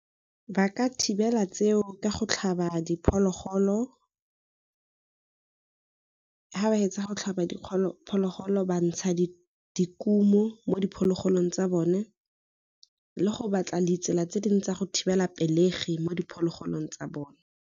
Ba ka thibela tseo ka go tlhaba diphologolo ha ba hetsa go tlhaba phologolo bantsha dikumo mo diphologolong tsa bone, le go batla ditsela tse dingwe tsa go thibela pelegi mo diphologolong tsa bone